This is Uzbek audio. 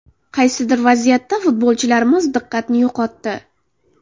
Qaysidir vaziyatda futbolchilarimiz diqqatni yo‘qotdi.